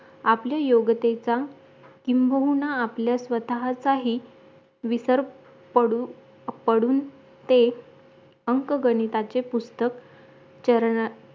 आपले योगतेचा किंबहुना आपले स्वतःचाही विसर पडू पडून ते अंक गणिताचे पुस्तक चरण